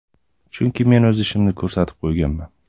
Chunki men o‘z ishimni ko‘rsatib qo‘yganman.